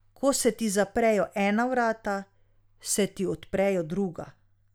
Ko se ti zaprejo ena vrata, se ti odprejo druga.